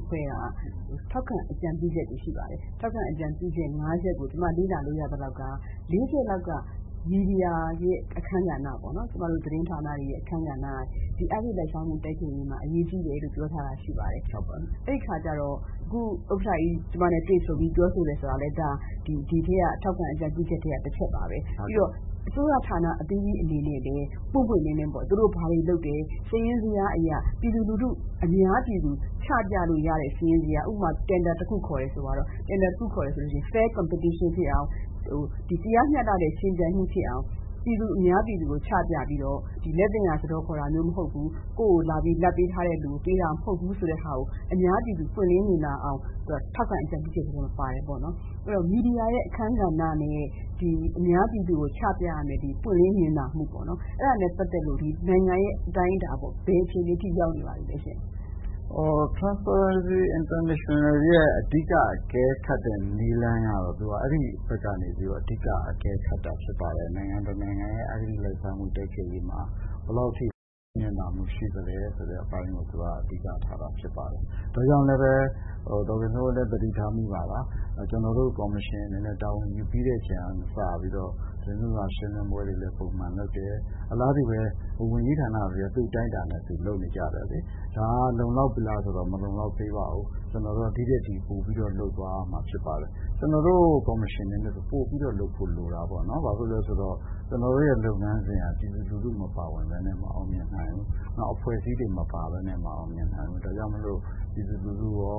အဖွဲ့က ထောက်ခံအကြံပြုချက်တွေရှိပါတယ်။ ထောက်ခံအကြံပြုချက် ၅ ချက်ကို ကျမလေ့လာလို့ရသလောက်ကတော့ ၄ ချက်လောက်က မီဒီယာအခန်းကဏ္ဍ ၊ သတင်းဌာနတွေရဲ့ အခန်းကဏ္ဍ ဒီအဂတိလိုက်စားမှုတိုက်ဖျက်ရေးမှာအရေးကြီးတယ်လို့ ပြောထားတာရှိပါတယ်။ အဲဒီအခါကျတော့ အခု ဥက္ကဋ္ဌကြီး ကျမနဲ့ တွေ့ဆုံပြီးပြောဆိုတယ်ဆိုတာကလည်း ဒီထောက်ခံအကြံပြုချက်ထဲက တချက်ပါပဲ။ ပြီးတော့ အစိုးရဌာန အသီးသီးအနေနဲ့လည်း ပွင့်ပွင့်လင်းလင်းပေါ့ သူတို့ဘာတွေလုပ်တယ် စာရင်းဇယျားအရ အများပြည်သူ ချပြလို့ရတဲ့ ဥပမာ တင်ဒါတခုခေါ်တယ်ဆိုရင် Fair Competition ဖြစ်အောင် တရားမျှတတဲ့ ယှဉ်ပြိုင်မှုဖြစ်အောင် အများပြည်သူကို ချပြပြီးတော့ လာဘ်သင့်ရာ စားတော်ခေါ်တာမျိုးမဟုတ်ဘူး ၊ လာဘ်ပေးထားတဲ့လူကို ပေးတာမဟုတ်ဘူး ဆိုတာကို အများပြည်သူ ပွင့်လင်းမြင်သာအောင် သူကထောက်ခံအကြံပြုချက်ထဲမှာ ပါတယ်ပေါေ့နာ်။ အဲဒီတော့ မီဒီယာအခန်းကဏ္ဍနဲ့ အများပြည်သူကို ချပြရမယ့် ပွင့်လင်းမြင်သာမှုပေါ့နော် အဲဒါနဲ့ ပတ်သက်လို့ နိုင်ငံရဲ့အတိုင်းအတာပေါ့နော် ဘယ်အခြေအနေအထိရောက်နေပါပြီလဲရှင့်။ International Transparency ရဲ့ အဓိက အကဲခတ်တဲ့ နည်းလမ်းကတော့ သူက အဲဒီဘက်ကနေ အဓိက အကဲခတ်တာဖြစ်ပါတယ်။ နိုင်ငံတနိုင်ငံရဲ့ အဂတိလိုက်စားမှု တိုက်ဖျက်ရေးမှာ ဘယ်လောက်အထိ ပွင့်လင်းမြင်သာမှုရှိသလဲဆိုတာကို အဓိကထားတာဖြစ်ပါတယ်။ ဒါကြောင့်လည်း ကျနော်တို့ ကော်မရှင်အနေနဲ့ တာဝန်ယူပြီးတဲ့အချိန်မှစပြီး သတင်းစာရှင်းလင်းပွဲတွေလည်း ပုံမှန်လုပ်တယ် အလားတူပဲ ဝန်ကြီးဌာနတွေလည်း သူ့အတိုင်းအတာနဲ့ သူလုပ်နေကြတယ်။ ဒါကလုံလောက်ပြီလားဆိုတော့ မလုံလောက်သေးပါဘူး။ ကျနော်တို့ ဒီထက်ပိုပြီးတော့ လုပ်သွားရမှာဖြစ်ပါတယ်။ ကျနော်တို့ ကော်မရှင်အနေနဲ့ဆိုရင် ပိုပြီးတော့ လုပ်ဖို့လိုတာပေါ့နော်။ ဘာဖြစ်လို့လဲဆိုတော့ ကျနော်တို့လုပ်ငန်းစဉ်က ပြည်သူလူထုမပါပဲနဲ့ မအောင်မြင်နိုင်ဘူး။ နောက်အဖွဲ့အစည်းတွေမပါပဲနဲ့ မအောင်မြင်နိုင်ဘူး။ ဒါကြောင့်မို့လို့ ပြည်သူလူထုရော